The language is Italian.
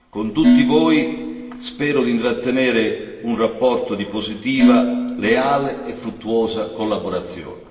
Con tutti voi spero di intrattenere un rapporto di positiva, leale e fruttuosa collaborazione.